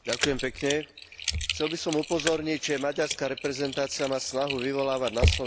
Chcel by som upozorniť, že maďarská reprezentácia má snahu vyvolávať na Slovensku provokácie.